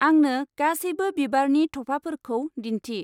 आंनो गासैबो बिबारनि थफाफोरखौ दिन्थि।